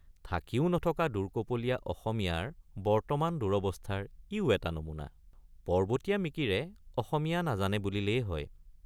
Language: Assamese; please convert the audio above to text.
থাকিও নথকা দুৰ্কপলীয়৷ অসমীয়াৰ বৰ্তমান দুৰৱস্থাৰ ইয়ো এটা নমুনা ৷ পৰ্বতীয়া মিকিৰে অসমীয়৷ নাজানে বুলিলেই হয়।